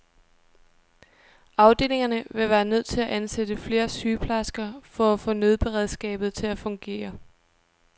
Afdelingerne ville være nødt til at ansætte flere sygeplejersker for at få nødberedskabet til at fungere.